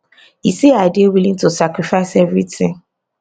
e say i dey willing to sacrifice evritin